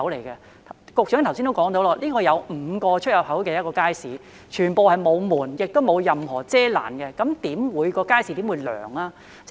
局長剛才已提到，大圍街市共有5個出入口，全部沒有門，亦沒有任何遮攔，試問街市又怎會涼呢？